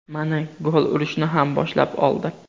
Mana, gol urishni ham boshlab oldi.